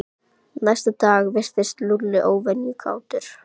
Næsta dag virtist Lúlli óvenju kátur.